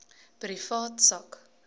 privaat sak